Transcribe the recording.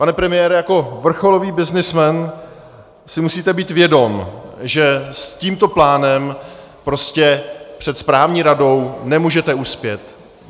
Pane premiére, jako vrcholový byznysmen si musíte být vědom, že s tímto plánem prostě před správní radou nemůžete uspět.